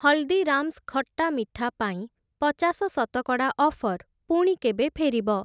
ହଲ୍‌ଦୀରାମ୍‌ସ୍‌ ଖଟ୍ଟା ମିଠା ପାଇଁ ପଚାଶ ଶତକଡ଼ା ଅଫର୍ ପୁଣି କେବେ ଫେରିବ?